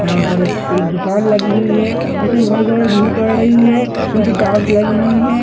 यहाँ पर एक दुकान लगी हुई है जिसमें बहुत सारे रही है नीचे टाइल्स लगी हुई है।